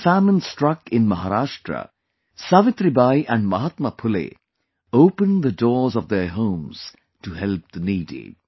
When a famine struck in Maharashtra, Savitribai and Mahatma Phule opened the doors of their homes to help the needy